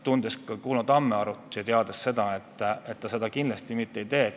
Tunnen ka Kuno Tammearut ja tean, et ta seda kindlasti mitte teha ei lase.